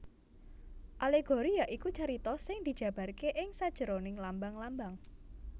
Alegori ya iku carita sing dijabarké ing sajeroning lambang lambang